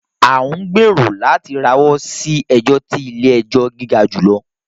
À ń gbèrò láti rawọ́ sí ẹjọ ti ilé-ẹjọ̀ gíga jùlọ